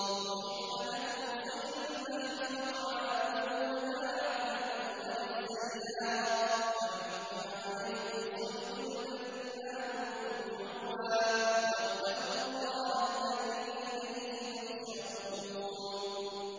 أُحِلَّ لَكُمْ صَيْدُ الْبَحْرِ وَطَعَامُهُ مَتَاعًا لَّكُمْ وَلِلسَّيَّارَةِ ۖ وَحُرِّمَ عَلَيْكُمْ صَيْدُ الْبَرِّ مَا دُمْتُمْ حُرُمًا ۗ وَاتَّقُوا اللَّهَ الَّذِي إِلَيْهِ تُحْشَرُونَ